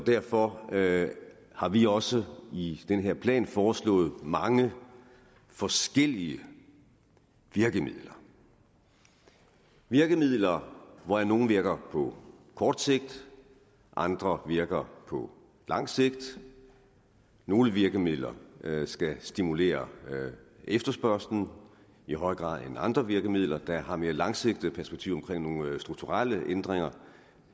derfor derfor har vi også i den her plan foreslået mange forskellige virkemidler virkemidler hvoraf nogle virker på kort sigt og andre virker på lang sigt nogle virkemidler skal stimulere efterspørgslen i højere grad end andre virkemidler der har mere langsigtede perspektiver om nogle strukturelle ændringer